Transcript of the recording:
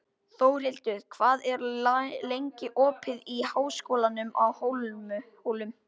Þórlindur, hvað er lengi opið í Háskólanum á Hólum?